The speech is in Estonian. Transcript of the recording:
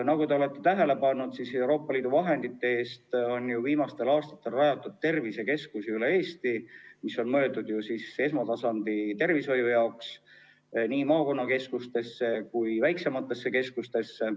Nagu te olete tähele pannud, on Euroopa Liidu vahendite eest viimastel aastatel rajatud üle Eesti tervisekeskusi, mis on mõeldud ju esmatasandi tervishoiuks nii maakonnakeskustesse kui ka väiksematesse keskustesse.